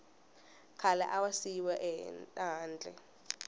khale a va siyiwe ehandle